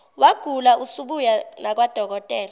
wagula usubuya nakwadokotela